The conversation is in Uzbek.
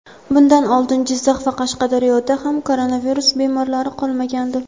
Bundan oldin Jizzax va Qashqadaryoda ham koronavirus bemorlari qolmagandi.